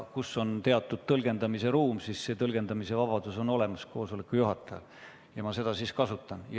Kui on olemas teatud tõlgendamisruum, siis tõlgendamisvabadus on koosoleku juhatajal ja seda ma praegu ka kasutan.